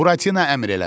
Buratino əmr elədi.